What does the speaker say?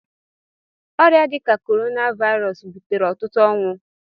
Ọrịa dị ka Corona Virus butere ọtụtụ ọnwụ.